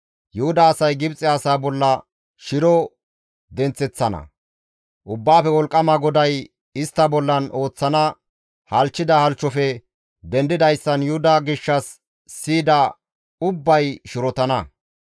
Yuhuda asay Gibxe asaa bolla shiro denththeththana; Ubbaafe Wolqqama GODAY istta bollan ooththana halchchida halchchofe dendidayssan Yuhuda gishshas siyida ubbay shirotana.